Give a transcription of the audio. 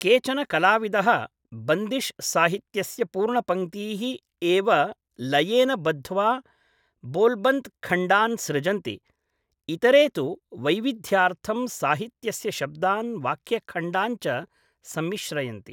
केचन कलाविदः बन्दिश् साहित्यस्य पूर्णपङ्क्तीः एव लयेन बद्ध्वा बोल्बन्त् खण्डान् सृजन्ति, इतरे तु वैविध्यार्थं साहित्यस्य शब्दान् वाक्यखण्डान् च संमिश्रयन्ति।